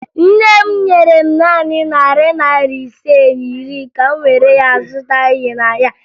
Nne m nyere m naanị narị naịra ise na iri ka m were ya zụta ihe n'ahịa.